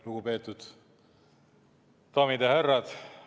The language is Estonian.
Lugupeetud daamid ja härrad!